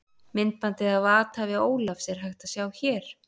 Myndbandið af athæfi Ólafs, er hægt að sjá hér.